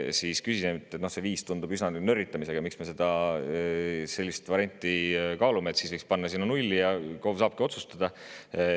Siis küsisin, et kuna see 5 eurot tundub üsna nörritamisena, siis miks me sellist varianti kaalume, võiks ju panna sinna nulli ja KOV saaks otsustada.